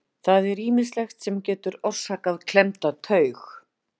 Það er ýmislegt sem getur orsakað klemmda taug.